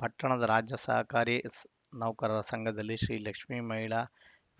ಪಟ್ಟಣದ ರಾಜ್ಯ ಸರ್ಕಾರಿ ನೌಕರರ ಸಂಘದಲ್ಲಿ ಶ್ರೀಲಕ್ಷ್ಮೀ ಮಹಿಳಾ